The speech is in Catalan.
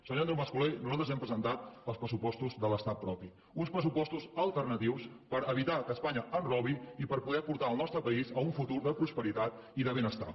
senyor andreu mas colell nosaltres hem presentat els pressupostos de l’estat propi uns pressupos tos alternatius per evitar que espanya ens robi i per poder portar el nostre país a un futur de prosperitat i de benestar